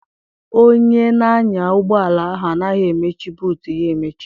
Onye na-anya ụgbọala ahụ anaghị emechi buutu ya emechi.